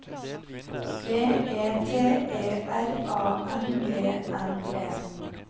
V E T E R A N E N E